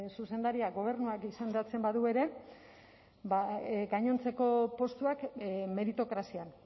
zuzendaria gobernuak izendatzen badu ere gainontzeko postuak meritokrazian